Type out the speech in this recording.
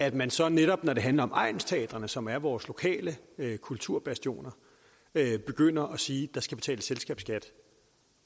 at man så netop når det handler om egnsteatrene som er vores lokale kulturbastioner begynder at sige at der skal betales selskabsskat